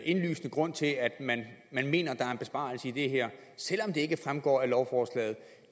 indlysende grund til at man mener at der er en besparelse i det her selv om det ikke fremgår af lovforslaget